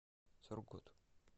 сургут